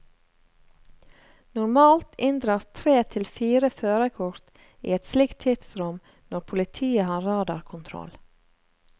Normalt inndras tre til fire førerkort i et slikt tidsrom når politiet har radarkontroll.